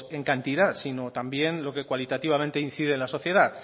en cantidad sino también lo que cualitativamente incide en la sociedad